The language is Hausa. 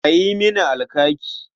A yi mini alkaki.